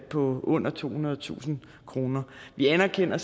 på under tohundredetusind kroner vi anerkender